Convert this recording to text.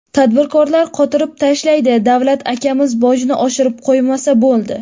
Tadbirkorlar qotirib tashlaydi, davlat akamiz bojni oshirib qo‘ymasa bo‘ldi.